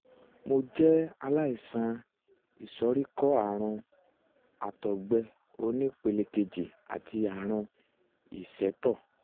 mo jẹ́ aláìsàn ìsoríkọ́ ààrùn àtọ̀gbẹ um oní ìpele kejì àti ààrùn ìsétọ̀